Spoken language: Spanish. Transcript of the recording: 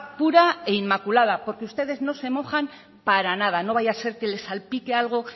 pura e inmaculada porque ustedes no se mojan para nada no vaya a ser que les salpique algo